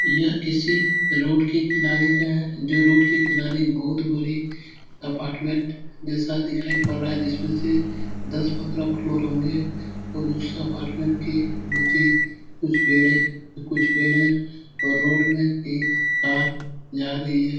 यह किसी रोड के किनारे का है जो रोड के किनारे बोहोत बड़े अपार्टमेंट जैसा दिखाई पड़ रहा है। जिसमें से दस पंद्रह फ्लोर होंगे और उस अपार्टमेंट के नीचे कुछ पेड़े कुछ पेड़ हैं और रोड में एक कार जा रही है।